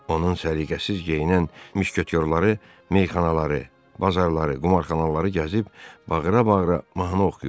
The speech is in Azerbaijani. Onun səliqəsiz geyinən müşketyorları meyxanaları, bazarları, qumarxanaları gəzib bağıra-bağıra mahnı oxuyur.